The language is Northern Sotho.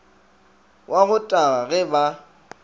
wa go taga ge ba